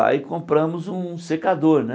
Aí compramos um secador, né?